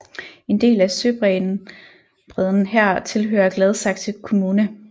En del af søbredden her tilhører Gladsaxe Kommune